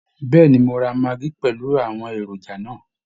Bẹ́ẹ̀ ni, mo ra maggi pẹ̀lú àwọn èròjà náà